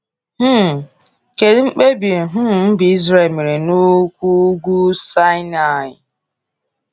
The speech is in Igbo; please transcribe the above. um Kedu mkpebi um mba Israel mere n’ụkwụ Ugwu Saịnaị?